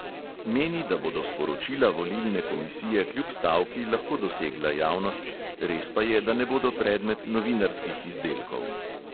Meni, da bodo sporočila volilne komisije kljub stavki lahko dosegla javnost, res pa je, da ne bodo predmet novinarskih izdelkov.